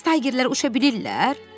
Bəs Taygerlər uça bilirlər?